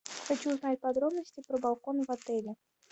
хочу узнать подробности про балкон в отеле